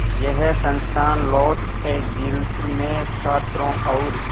यह संस्थान Los Angeles में छात्रों और